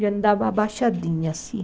E andava abaixadinha assim.